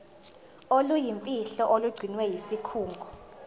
oluyimfihlo olugcinwe yisikhungo